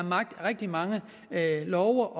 rigtig mange love